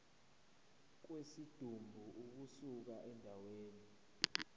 kwesidumbu ukusuka endaweni